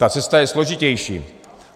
Ta cesta je složitější.